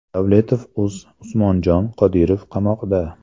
Davletovuz Usmonjon Qodirov qamoqda!